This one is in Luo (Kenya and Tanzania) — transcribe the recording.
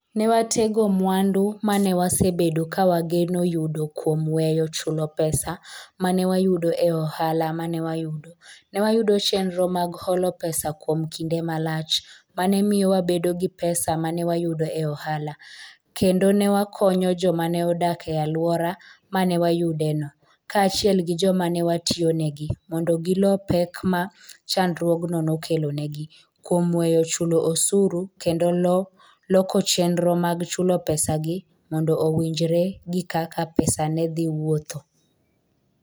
Ne watego mwandu ma ne wasebedo ka wageno yudo kuom weyo chulo pesa ma ne wayudo e ohala ma ne wayudo, ne wayudo chenro mag holo pesa kuom kinde malach ma ne miyo wabedo gi pesa ma wayudo e ohala, kendo ne wakonyo joma ne odak e alwora ma ne wayudeno kaachiel gi joma ne watiyonegi mondo gilo pek ma chandruogno nokelonegi kuom weyo chulo osuru kendo loko chenro mag chulo pesagi mondo owinjre gi kaka pesa ne dhi wuotho".